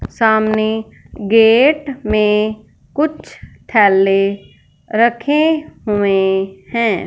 सामने गेट में कुछ थैले रखे हुए हैं।